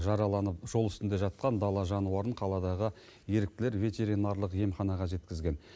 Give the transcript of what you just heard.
жараланып жол үстінде жатқан дала жануарын қаладағы еріктілер ветеринарлық емханаға жеткізген